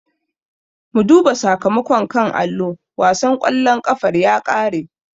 Mu duba sakamakon a kan allo, wasan ƙwallon ƙafar ya ƙare.